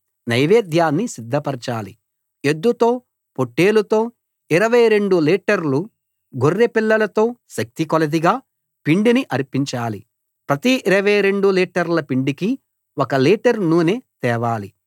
నైవేద్యాన్ని సిద్ధపరచాలి ఎద్దుతో పొట్టేలుతో 22 లీటర్లు గొర్రెపిల్లలతో శక్తికొలదిగా పిండిని అర్పించాలి ప్రతి 22 లీటర్ల పిండికి ఒక లీటర్ నూనె తేవాలి